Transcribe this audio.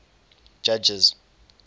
judges